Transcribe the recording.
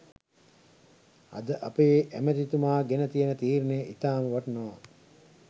අද අපේ ඇමැතිතුමා ගෙන තියෙන තීරණය ඉතාම වටිනවා